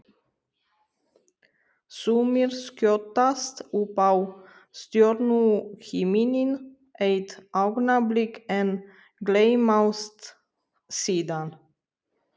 Sumir skjótast upp á stjörnuhimininn eitt augnablik en gleymast síðan.